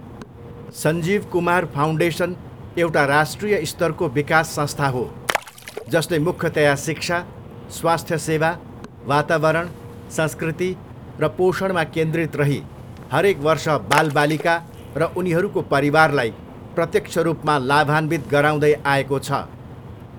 Sanjeev Kumar foundation एउटा राष्ट्रिय स्तरको विकास संस्था हो, जसले मुख्यतया शिक्षा, स्वास्थ्य सेवा, वातावरण, संस्कृति र पोषणमा केन्द्रित रही हरेक वर्ष बालबालिका र उनीहरूको परिवारलाई प्रत्यक्ष रूपमा लाभान्वित गराउँदै आएको छ।